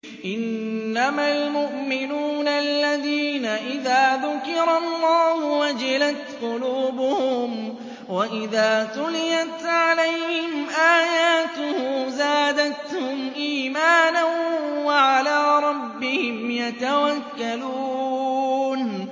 إِنَّمَا الْمُؤْمِنُونَ الَّذِينَ إِذَا ذُكِرَ اللَّهُ وَجِلَتْ قُلُوبُهُمْ وَإِذَا تُلِيَتْ عَلَيْهِمْ آيَاتُهُ زَادَتْهُمْ إِيمَانًا وَعَلَىٰ رَبِّهِمْ يَتَوَكَّلُونَ